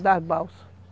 das balsas.